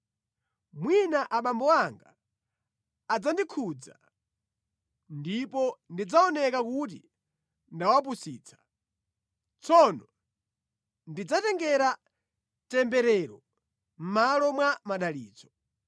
Mwina abambo anga adzandikhudza, ndipo ndidzaoneka kuti ndawapusitsa. Tsono ndizadzitengera temberero mʼmalo mwa madalitso.”